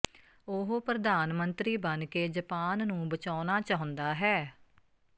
ਉਹ ਪ੍ਰਧਾਨ ਮੰਤਰੀ ਬਣ ਕੇ ਜਪਾਨ ਨੂੰ ਬਚਾਉਣਾ ਚਾਹੁੰਦਾ ਹੈ